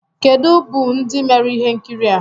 kedu bụ ndị mere ihe nkiri a?